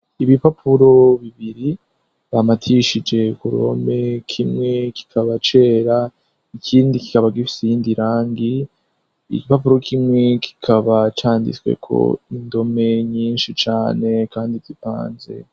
Ibipapuro bibiri bamatishije kurome kimwe kikaba cera ikindi kikaba gifise irindi rangi igipapuro kimwe kikaba canditsweko indome nyinshi cane kandi tipanze.